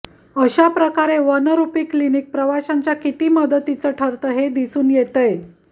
अशा प्रकारे one rupee clinic प्रवाशांच्या किती मदतीचं ठरतं हे दिसून येतंय